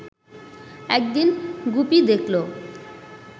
একদিন গুপি দেখল